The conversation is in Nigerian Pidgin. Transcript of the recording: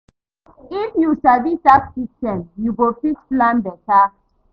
If yu sabi tax systems, you go fit plan beta.